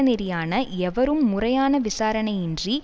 நெறியான எவரும் முறையான விசாரணையின்றி